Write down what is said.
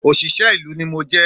Òṣìṣẹ́ ìlú ni mo jẹ́